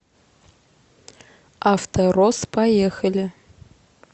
авторосс поехали